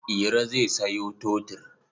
Iro zai sayo totur.